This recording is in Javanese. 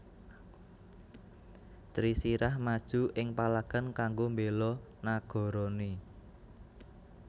Trisirah maju ing palagan kanggo mbéla nagarané